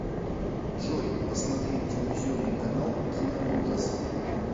джой посмотреть телевизионный канал киноужас